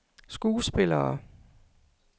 skuespillere